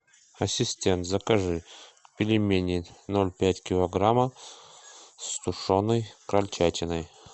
ассистент закажи пельмени ноль пять килограмма с тушеной крольчатиной